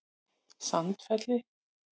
Sandfelli